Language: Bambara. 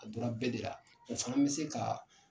A donna bɛɛ de la. O fana bɛ se ka